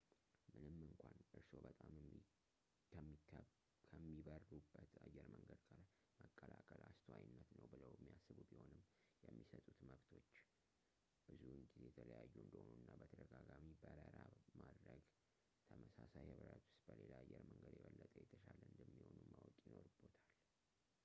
ምንም እንኳን እርስዎ በጣም ከሚበሩበት አየር መንገድ ጋር መቀላቀል አስተዋይነት ነው ብለው የሚያስቡ ቢሆኑም ፣ የሚሰጡት መብቶች ብዙውን ጊዜ የተለያዩ እንደሆኑ እና በተደጋጋሚ በረራ ማድረግች በተመሳሳይ ህብረት ውስጥ በሌላ አየር መንገድ የበለጠ የተሻለ እንደሚሆኑ ማወቅ ይኖርብዎታል